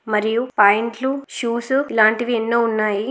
మరియు పైంట్లు షూసు ఇలాంటివి ఎన్నో ఉన్నాయి.